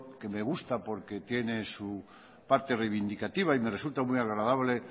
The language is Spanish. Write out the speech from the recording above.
que me gusta porque tiene su parte reivindicativa y me resulta muy agradable